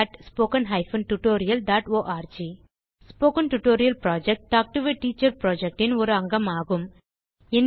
spoken tutorial project talk to a teacher project இன் ஒரு அங்கமாகும்